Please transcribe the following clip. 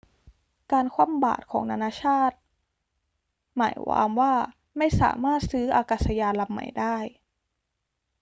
การคว่ำบาตรของนานาชาติหมายวามว่าไม่สามารถซื้ออากาศยานลำใหม่ได้